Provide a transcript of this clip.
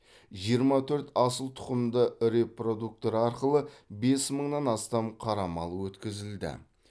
жиырма төрт асыл тұқымды репродуктор арқылы бес мыңнан астам қара мал өткізілді